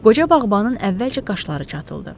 Qoca bağbanın əvvəlcə qaşları çatıldı.